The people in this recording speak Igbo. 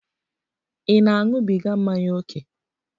Ị na-aṅụbiga mmanya ókè?